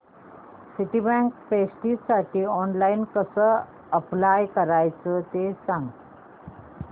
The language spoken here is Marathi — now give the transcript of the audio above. सिटीबँक प्रेस्टिजसाठी ऑनलाइन कसं अप्लाय करायचं ते सांग